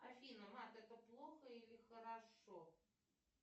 афина вад это плохо или хорошо